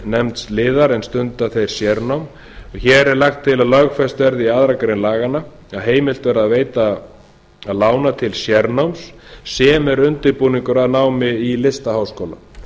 nefnds liðar ef stunda þeir sérnám hér er lagt til að lögfest verði í annarri grein laganna að heimilt verði að veita að lána til sérnáms sem er undirbúningur að námi í listaháskóla